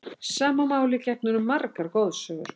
Sama máli gegnir um margar goðsögur.